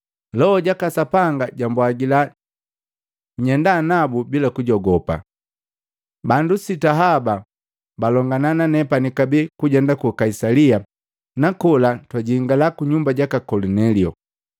Loho jaka Sapanga jambwagila nyenda nabu bila kujogopa. Bandu sita haba balongana nanepani kabee kujenda ku Kaisalia na kola twajingala kunyumba jaka Kolinelio.